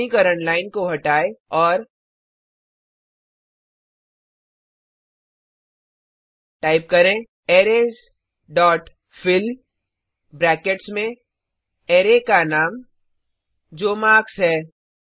श्रेणीकरण लाइन को हटाएँ और टाइप करें अरेज डॉट फिल ब्रैकेट्स में अरै का नाम जो मार्क्स है